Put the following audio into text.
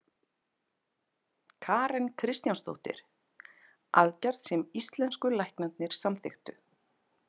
Karen Kjartansdóttir: Aðgerð sem íslensku læknarnir samþykktu?